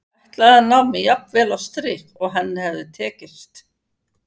Ég ætlaði að ná mér jafn vel á strik og henni hafði tekist.